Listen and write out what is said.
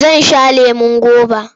Zan sha lemon goba.